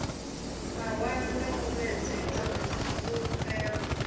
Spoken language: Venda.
mawalo na u vhuedzedza fhulufhelo